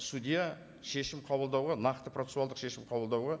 судья шешім қабылдауға нақты процессуалдық шешім қабылдауға